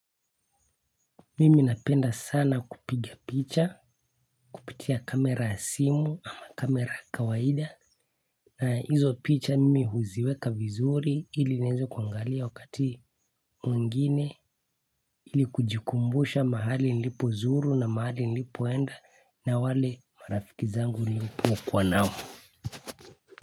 Mimi napenda sana kupiga picha, kupitia kamera ya simu ama kamera ya kawaida. Hizo picha mimi huziweka vizuri ili niweze kuangalia wakati mwingine ili kujikumbusha mahali nilipo zuru na mahali nilipo enda na wale marafiki zangu nilipo kuwa nao.